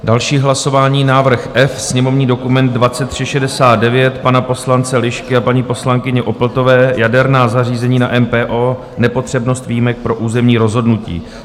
Další hlasování, návrh F, sněmovní dokument 2369 pana poslance Lišky a paní poslankyně Opltové, jaderná zařízení na NPO, nepotřebnost výjimek pro územní rozhodnutí.